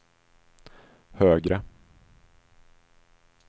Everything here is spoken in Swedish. högre